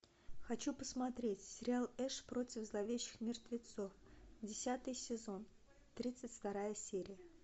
хочу посмотреть сериал эш против зловещих мертвецов десятый сезон тридцать вторая серия